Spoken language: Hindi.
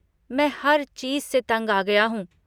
मैं हर चीज़ से तंग आ गया हूँ।